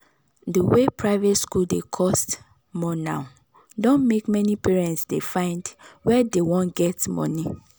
the way private school dey cost more now don make many parents dey find were dey wan get money